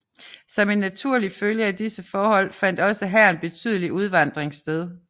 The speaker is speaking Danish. Som en naturlig følge af disse forhold fandt også her en betydelig udvandring sted